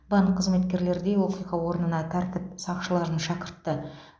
банк қызметкерлері де оқиға орнына тәртіп сақшыларын шақыртты